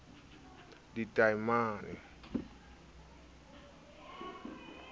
tadimang e le a behang